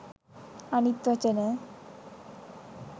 අනිත් වචන